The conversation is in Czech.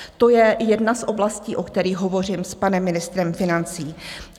To je jedna z oblastí, o kterých hovořím s panem ministrem financí.